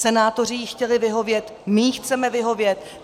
Senátoři jí chtěli vyhovět, my jí chceme vyhovět.